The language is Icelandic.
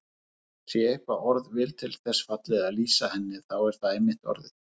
Sé eitthvert orð vel til þess fallið að lýsa henni þá er það einmitt orðið.